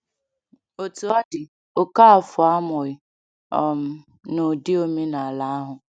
Otú ọ dị, Okafor amụghị um n’ụdị omenala ahụ.